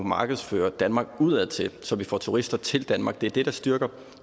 markedsføre danmark udadtil så vi får turister til danmark det er det der styrker